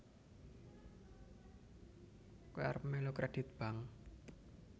Koe arep melu kredit Bank